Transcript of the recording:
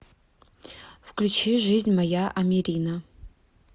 включи жизнь моя амирина